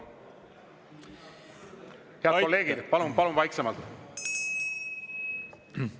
Head kolleegid, palun vaiksemalt!